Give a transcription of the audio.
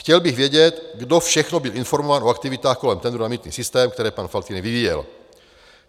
Chtěl bych vědět, kdo všechno byl informován o aktivitách kolem tendru na mýtný systém, které pan Faltýnek vyvíjel.